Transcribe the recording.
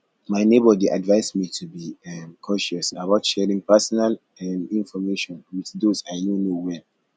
my neighbor dey advise me to be um cautious about sharing personal um information with those i no know well